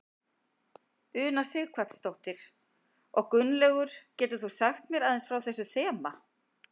Una Sighvatsdóttir: Og Gunnlaugur getur þú sagt mér aðeins frá þessu þema?